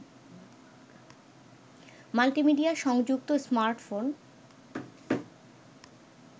multimedia সংযুক্ত smartphone